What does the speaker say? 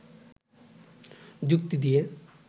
যুক্তি দিয়ে